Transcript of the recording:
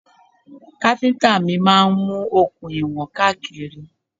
Káfíntà mi máa mú okùn ìwọ̀n káàkiri.